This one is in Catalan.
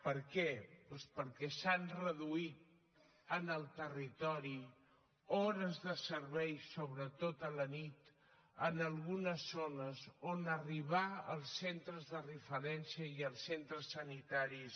per què doncs perquè s’han reduït en el territori hores de servei sobretot a la nit en algunes zones on arribar als centres de referència i als centres sanitaris